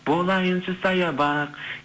болайыншы саябақ